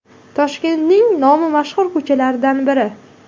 Toshkentning nomi mashhur ko‘chalaridan biri.